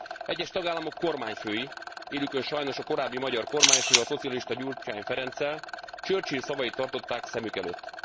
Egyes tagállamok kormányfői, élükön sajnos a korábbi magyar kormányfővel, a szocialista Gyurcsány Ferenccel, Churchill szavait tartották szemük előtt.